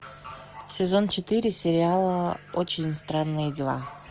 сезон четыре сериала очень странные дела